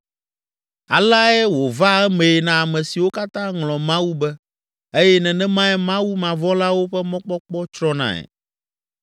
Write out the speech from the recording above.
Aleae wòvaa emee na ame siwo katã ŋlɔ Mawu be eye nenemae Mawumavɔ̃lawo ƒe mɔkpɔkpɔ tsrɔ̃nae.